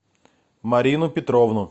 марину петровну